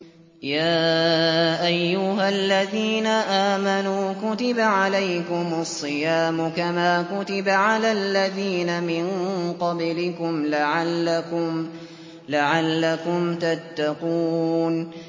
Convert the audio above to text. يَا أَيُّهَا الَّذِينَ آمَنُوا كُتِبَ عَلَيْكُمُ الصِّيَامُ كَمَا كُتِبَ عَلَى الَّذِينَ مِن قَبْلِكُمْ لَعَلَّكُمْ تَتَّقُونَ